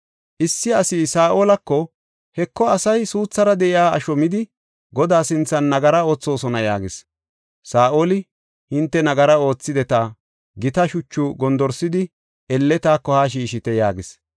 Issi asi Saa7olako, “Heko, asay suuthara de7iya asho midi, Godaa sinthan nagara oothosona” yaagis. Saa7oli, “Hinte nagara oothideta; gita shuchu gondorsidi elle taako haa shiishite” yaagis.